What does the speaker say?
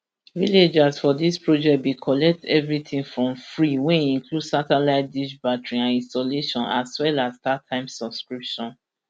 villagers for dis project bin collect everitin for free wey include satellite dish battery and installation as well as startimes subscription